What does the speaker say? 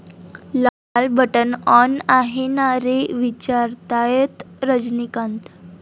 लाल बटण आॅन आहे ना रे, विचारतायत रजनीकांत!